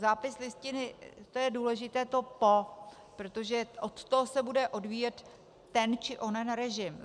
Zápis listiny, to je důležité to "po", protože od toho se bude odvíjet ten či onen režim.